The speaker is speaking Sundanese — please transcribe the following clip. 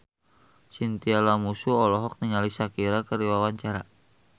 Chintya Lamusu olohok ningali Shakira keur diwawancara